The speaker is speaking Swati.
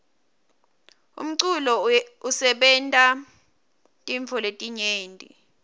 umculo usebenta tintfo letinyenti